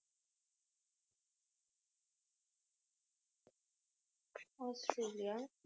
Australia